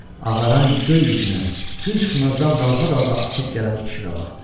Ağaran göy üzünə, gün çıxmazdan dalğa-dalğa axıb gələn işığa baxdı.